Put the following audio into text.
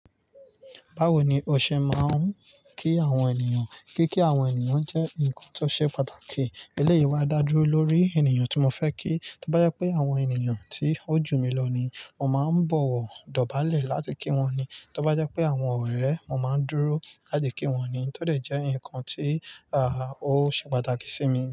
Báwo ni o ṣe máa ń kí àwọn ènìyàn? Kíkí àwọn ènìyàn jẹ́ nǹkan tó ṣe pàtàkì. Eléyìí maa dá dúró lórí ènìyàn tí mo fẹ́ kí. Tóbá jẹ́ pé àwọn ènìyàn tí ó jù mí lọ ni, mo máa ń bọ̀wọ̀ dọ̀bálẹ̀ láti kí wọ́n ni. Tóbá jẹ́ pé àwọn ọ̀rẹ́, mo máa ń dúró láti kí wọ́n ni. Ó tọ́ dẹ̀ jẹ́ nǹkan tí, àá, ó ṣe pàtàkì sí mi.